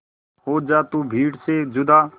हो जा तू भीड़ से जुदा